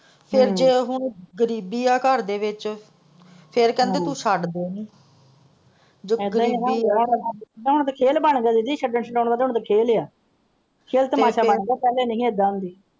ਫ਼ੇਰ ਜੋ ਉਹ ਗ਼ਰੀਬੀ ਹੈ ਘਰ ਦੇ ਵਿੱਚ ਫ਼ੇਰ ਕਹਿੰਦੇ ਤੋਂ ਛੱਡ ਦੇ ਉਹਨੂੰ ਹੁਣ ਤੇ ਖੇਲਬਣ ਗਿਆ ਦੀਦੀ ਛੱਡਣ ਛਡਾਉਣਾ ਦਾ ਖੇਲ ਹੈ ਖੇਲ ਤਮਾਸ਼ਾ ਬਣ ਗਿਆ ਪਹਿਲਾਂ ਨਹੀਂ ਸੀ ਇਹਦਾ ਹੁੰਦੀ।